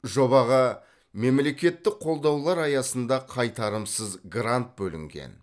жобаға мемлекеттік қолдаулар аясында қайтарымсыз грант бөлінген